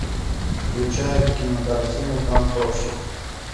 включай кинокартину танцовщик